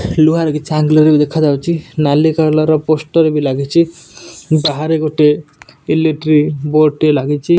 ଲୁହାର କିଛି ଅଙ୍ଗେଲ ଭଳି ଦେଖାଯାଉଛି। ନାଲି କଲର୍ ପୋଷ୍ଟର ବି ଲାଗିଛି। ବାହାରେ ଗୋଟିଏ ଇଲେକ୍ଟ୍ରିକ୍ ବୋର୍ଡ ଟିଏ ଲାଗିଚି।